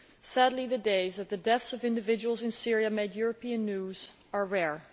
Sadly the days when the deaths of individuals in Syria make European news are rare.